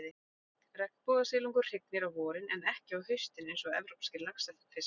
Regnbogasilungur hrygnir á vorin, en ekki á haustin eins og evrópskir laxfiskar.